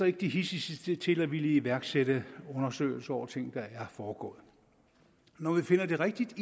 ikke de hidsigste til at ville iværksætte undersøgelser af ting der er foregået når vi finder det rigtigt